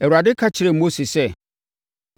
Awurade ka kyerɛɛ Mose sɛ,